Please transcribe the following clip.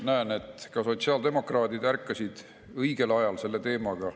Näen, et ka sotsiaaldemokraadid ärkasid õigel ajal selle teemaga.